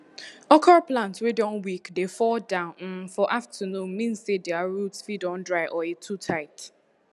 okro plant wey don weak dey fall down um for afternoon mean say dere root fit don dry or e too tight